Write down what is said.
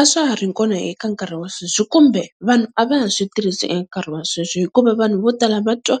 A swa ha ri kona eka nkarhi wa sweswi kumbe vanhu a va ha swi tirhisi eka nkarhi wa sweswo, hikuva vanhu vo tala va twa